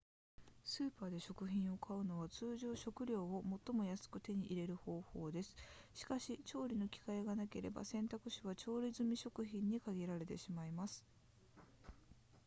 スーパーで食品を買うのは通常食料を最も安く手に入れる方法ですしかし調理の機会がなければ選択肢は調理済み食品に限られてしまいます